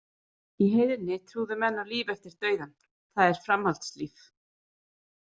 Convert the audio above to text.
Í heiðni trúðu menn á líf eftir dauðan það er framhaldslíf.